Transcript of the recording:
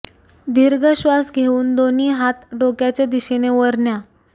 दीर्घ श्वास घेऊन दोन्ही हात डोक्याच्या दिशेने वर न्या